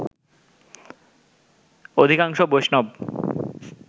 অধিকাংশ বৈষ্ণব